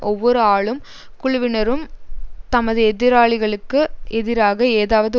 ஒவ்வொருஆளும் குழுவினரும் தமது எதிராளிகளுக்கு எதிராக ஏதாவது